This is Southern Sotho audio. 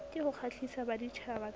ke ho kgahlisa baditjhaba ka